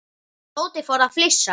Tóti fór að flissa.